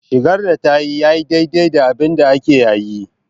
Shigar da tayi yayi daidai da abinda ake yayi.